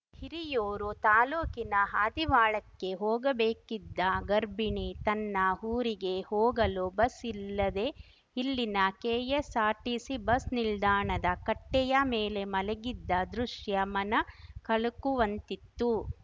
ಹಿರಿಯೂರು ತಾಲೂಕಿನ ಆದಿವಾಳಕ್ಕೆ ಹೋಗಬೇಕಿದ್ದ ಗರ್ಭಿಣಿ ತನ್ನ ಊರಿಗೆ ಹೋಗಲು ಬಸ್‌ ಇಲ್ಲದೇ ಇಲ್ಲಿನ ಕೆಎಸ್ಸಾರ್ಟಿಸಿ ಬಸ್‌ ನಿಲ್ದಾಣದ ಕಟ್ಟೆಯ ಮೇಲೆ ಮಲಗಿದ್ದ ದೃಶ್ಯ ಮನ ಕಲಕುವಂತಿತ್ತು